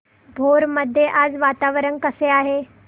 भोर मध्ये आज वातावरण कसे आहे